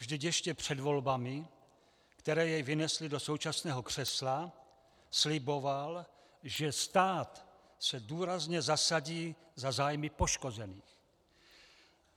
Vždyť ještě před volbami, které jej vynesly do současného křesla, sliboval, že stát se důrazně zasadí za zájmy poškozených.